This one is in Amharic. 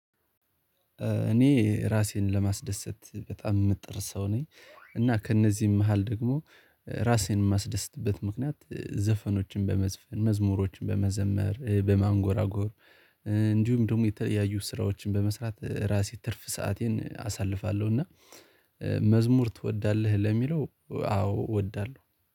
እኔ ራሴን ለማስደሰት በጣም የምትጥር ሰው ነኝ እና ከእነዚህም መሃል ደግሞ ራሴን የማስደስትበት ምክንያት ዘፈኖችን በመዝፈን መዝሙሮችን በመዘመር በማንጎራጎር እንዲሁም ደግሞ የተለያዩ ስራዎችን በመስራት ራሴ ትርፍ ሰአቴን አሳልፋለሁ እና ትወዳለህ ለሚለው አዎ እወዳለሁ።